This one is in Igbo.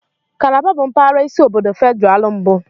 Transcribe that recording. Kalaba bụ mpaghara isi obodo Federal mbụ.